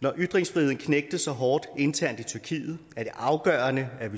når ytringsfriheden knægtes så hårdt internt i tyrkiet er det afgørende at vi